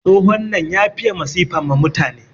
Tsohon nan ya fiye masifa ma mutane.